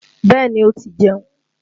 Bẹ́ẹ̀ni ó ti jeun